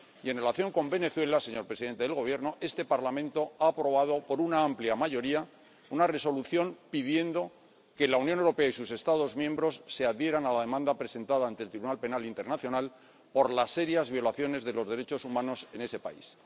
Y, en relación con Venezuela, señor presidente del Gobierno, este Parlamento ha aprobado por una amplia mayoría una resolución en la que pide que la Unión Europea y sus Estados miembros se adhieran a la demanda presentada ante la Corte Penal Internacional por las serias violaciones de los derechos humanos en ese país.